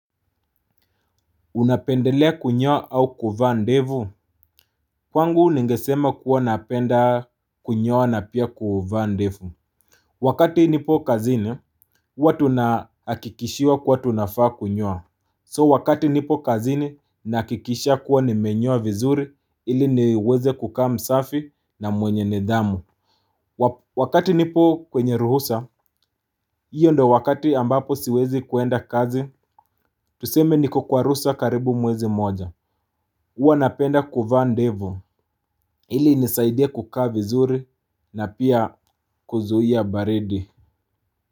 Unapendelea kunyoa au kuvaa ndevu. Kwangu ningesema kuwa napenda kunyoa na pia kuvaa ndevu. Wakati nipo kazini huwa tunahakikishiwa kuwa tunafaa kunyoa So wakati nipo kazini nahakikisha kuwa nimenyoa vizuri ili niweze kukaa msafi na mwenye nidhamu. Wakati nipo kwenye ruhusa. Iyo ndo wakati ambapo siwezi kuenda kazi tuseme niko kwa ruhusa karibu mwezi moja huwa napenda kuvaa ndevu ili inisaidie kukaa vizuri na pia kuzuia baridi.